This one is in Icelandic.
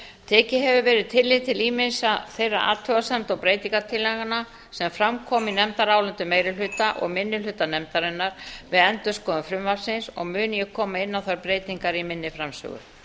tekið hefur verið tillit til ýmissa þeirra athugasemda og breytingartillagna sem fram komu í nefndarálitum meiri hluta og minni hluta nefndarinnar við endurskoðun frumvarpsins og mun ég koma inn á þær breytingar í minni framsögu